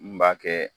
N b'a kɛ